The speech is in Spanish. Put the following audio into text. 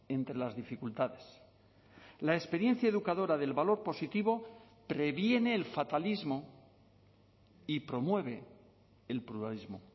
entre las dificultades la experiencia educadora del valor positivo previene el fatalismo y promueve el pluralismo